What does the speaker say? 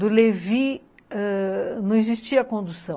Do Levi, ãh não existia condução.